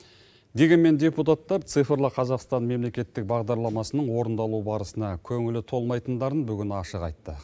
дегенмен депутаттар цифрлы қазақстан мемлекеттік бағдарламасының орындалу барысына көңілі толмайтындарын бүгін ашық айтты